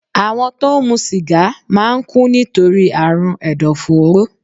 Àwọn tó ń mu sìgá máa ń kú nítorí àrùn ẹ̀dọ̀fóró